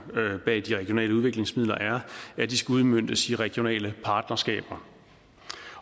bag de regionale udviklingsmidler er at de skal udmøntes i regionale partnerskaber